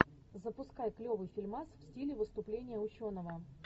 запускай клевый фильмас в стиле выступления ученого